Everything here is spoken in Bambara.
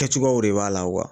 Kɛcogoyaw de b'a la